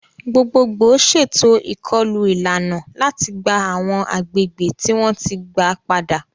Gbogbogbò ṣètò ìkọlù ìlànà láti gba àwọn agbègbè tí wọ́n ti gba padà.